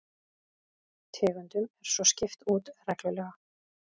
Tegundum er svo skipt út reglulega